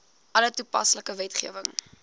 alle toepaslike wetgewing